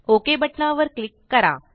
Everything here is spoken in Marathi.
ओक बटना वर क्लिक करा